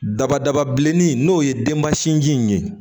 Daba daba bilenni n'o ye denbasiji in ye